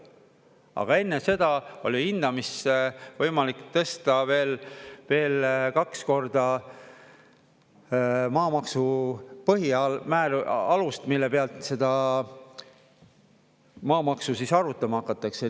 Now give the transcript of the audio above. Aga enne seda oli hinda võimalik tõsta veel veel kaks korda maamaksu põhialust, mille pealt seda maamaksu siis arutama hakatakse.